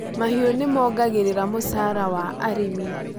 Mahiu nĩmongagĩrĩra mũcara wa arĩmi.